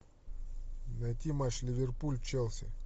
найти матч ливерпуль челси